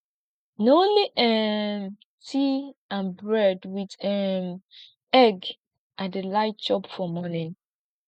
na only um tea and bread wit um egg i dey like chop for morning